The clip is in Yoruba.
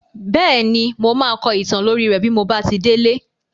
Bẹ́ẹ̀ni, mo máa kọ ìtàn lórí rẹ́ bí mo bá ti délé.